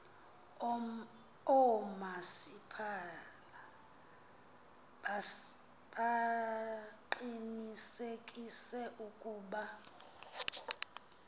oomasipala baqinisekise ukuba